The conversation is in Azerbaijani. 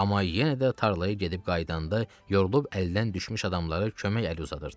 Amma yenə də tarlaya gedib qayıdanda yorulub əldən düşmüş adamlara kömək əli uzadırdı.